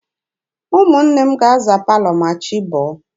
Ụmụnne m ga-aza palọ ma chi bọọ